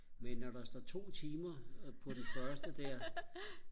men når der står to timer på den første der